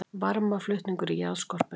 Varmaflutningur í jarðskorpunni